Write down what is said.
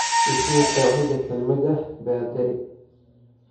I sii qeexida kelmadda baadari